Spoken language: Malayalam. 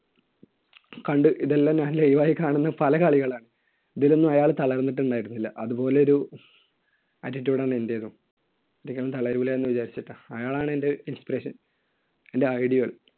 കണ്ടു. ഇതെല്ലാം ഞാൻ live ആയി കാണുന്ന പല കളികളാ. ഇതിലൊന്നും അയാൾ തളർന്നിട്ടുണ്ടായിരുന്നില്ല. അതുപോലൊരു attitude ആണ് എന്‍റെത്. ഒരിക്കലും തളരില്ല എന്ന് വിചാരിച്ചിട്ട്. അയാള്‍ ആണ് എന്‍റെ inspiration. എന്‍റെ idol